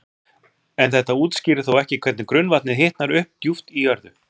En þetta útskýrir þó ekki hvernig grunnvatnið hitnar upp djúpt í jörðu.